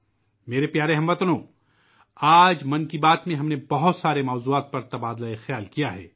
میرے پیارے اہل وطن، آج 'من کی بات' میں ہم نے متعدد موضوعات پر بات چیت کی